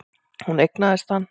Hún eignaðist hann.